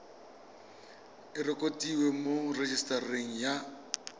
e rekotiwe mo rejisetareng ya